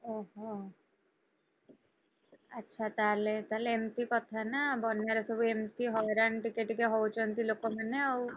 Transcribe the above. ଓହୋ ଆଚ୍ଛା ତାହେଲେ, ତାହେଲେ ଏମତି କଥାନା ବନ୍ୟାରେ ସବୁ ଏମତି ହଇରାଣ ଟିକେ ଟିକେ ହଉଛନ୍ତି ଲୋକମାନେ ଆଉ,